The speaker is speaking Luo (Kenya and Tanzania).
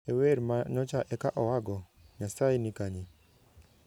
E wer ma nyocha eka oa go, 'Nyasaye ni Kanye?'